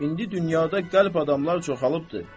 indi dünyada qəlb adamlar çoxalılıbdır.